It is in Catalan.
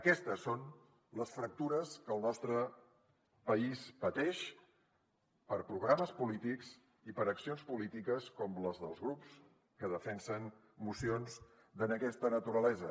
aquestes són les fractures que el nostre país pateix per programes polítics i per accions polítiques com les dels grups que defensen mocions d’aquesta naturalesa